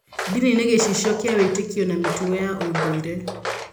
Ndini nĩ gĩcicio kĩa wĩtĩkio na mĩtugo ya ũndũire.